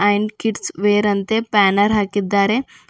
And kids wear ಅಂತೆ banner ಹಾಕಿದ್ದಾರೆ.